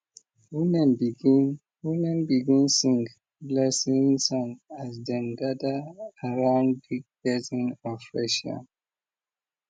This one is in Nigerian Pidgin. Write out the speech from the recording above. women begin women begin sing blessing song as dem gather around big basin of fresh yam